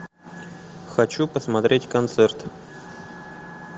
хочу посмотреть концерт